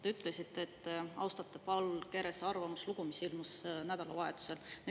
Te ütlesite, et Paul Kerese arvamuslugu, mis ilmus nädalavahetusel.